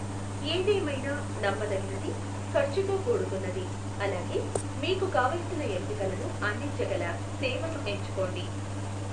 ఏదేమైనా, నమ్మదగినది, ఖర్చుతో కూడుకున్నది, అలాగే మీకు కావలసిన ఎంపికలను అందించగల సేవను ఎంచుకోండి.